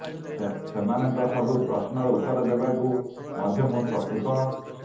ସେମାନଙ୍କ ସବୁ ପ୍ରଶ୍ନର ଉତ୍ତର ଦେବାକୁ ମଧ୍ୟ ମୁଁ ପ୍ରସ୍ତୁତ